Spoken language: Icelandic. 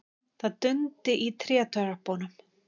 Það dundi í trétröppunum.